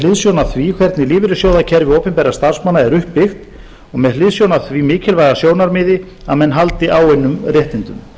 hliðsjón af því hvernig lífeyrissjóðakerfi opinberra starfsmanna er uppbyggt og með hliðsjón af því mikilvæga sjónarmiði að menn haldi áunnum réttindum